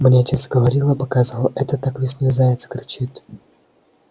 мне отец говорил и показывал это так весной заяц кричит